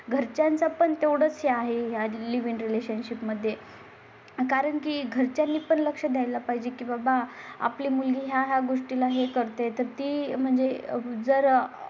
घरच्यांचा पण तेवढंच आहे. आज लिव्ह इन रिलेशनशिपमध्ये. कारण की घरच्या घरी पण लक्ष द्यायला पाहिजे की बाबा आपली मुलगी या गोष्टी ला हें करते तर ती म्हणजे जर